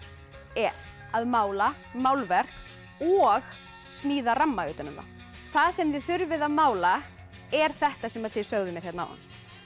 er að mála málverk og smíða ramma utan um það það sem þið þurfið að mála er þetta sem þið sögðuð áðan